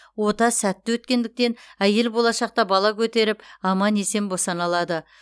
ота сәтті өткендіктен әйел болашақта бала көтеріп аман есен босана алады